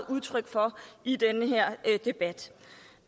udtryk for i den her debat